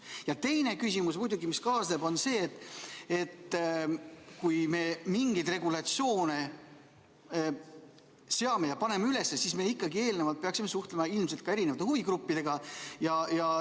Ja teine küsimus muidugi, mis kaasneb, on see, et kui me mingeid regulatsioone seame, siis me ikkagi eelnevalt peaksime suhtlema ka erinevate huvigruppidega.